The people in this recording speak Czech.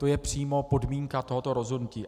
To je přímo podmínka tohoto rozhodnutí.